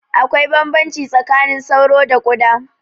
Akwai bambamci tsakanin sauro da ƙuda